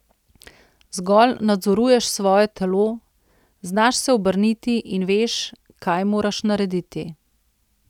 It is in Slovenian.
Zgolj nadzoruješ svoje telo, znaš se obrniti in veš, kaj moraš narediti.